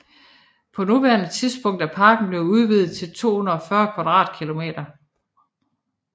På nuværende tidspunkt er parken blevet udvidet til 240 km²